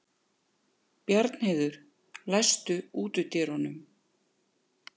Bjarnheiður, læstu útidyrunum.